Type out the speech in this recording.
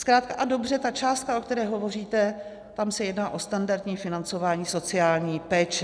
Zkrátka a dobře ta částka, o které hovoříte, tam se jedná o standardní financování sociální péče.